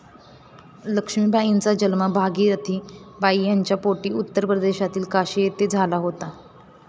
लक्ष्मीबाईंचा जन्म भागिरथी बाई यांच्या पोटी उत्तर प्रदेशातील काशी येथे झाला होता.